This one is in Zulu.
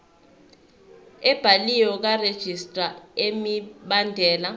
ebhaliwe karegistrar imibandela